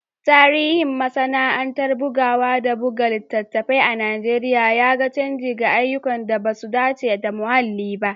Tarihin masana’antar bugawa da buga littattafai a Najeriya ya ga canji ga ayyukan da ba su dace da muhalli ba